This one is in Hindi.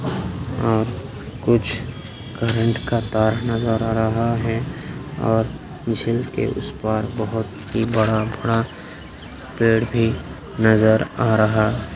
और कुछ करंट का तार नजर आ रहा है और झील के उस पार बहुत ही बड़ा-बड़ा पेड़ भी नजर आ रहा।